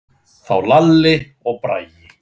Þá Lalli og Bragi.